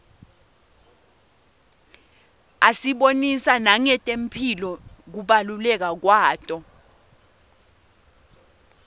asibonisa nangetemphilo kubaluleka kwato